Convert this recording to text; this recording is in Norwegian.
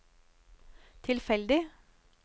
tilfeldig